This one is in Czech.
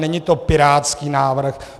Není to pirátský návrh.